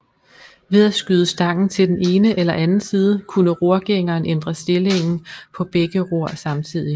Ved at skyde stangen til den ene eller anden side kunne rorgængeren ændre stillingen på begge ror samtidig